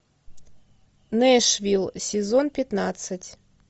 нэшвилл сезон пятнадцать